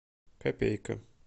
копейка